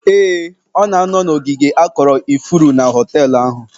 Ee, ọ na-anọ n'ogige akọrọ ifuru na họteelụ ahụ